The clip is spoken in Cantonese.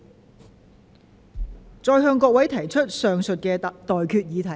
我現在向各位提出上述待決議題。